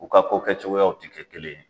U ka ko kɛ cogoyaw tɛ kɛ kelen ye